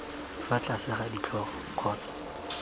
fa tlase ga ditlhogo kgotsa